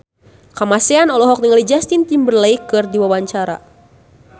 Kamasean olohok ningali Justin Timberlake keur diwawancara